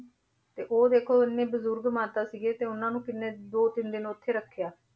ਤੇ ਉਹ ਦੇਖੋ ਇੰਨੇ ਬਜ਼ੁਰਗ ਮਾਤਾ ਸੀਗੇ ਤੇ ਉਹਨਾਂ ਨੂੰ ਕਿੰਨੇ ਦੋ ਤਿੰਨ ਦਿਨ ਉੱਥੇ ਰੱਖਿਆ।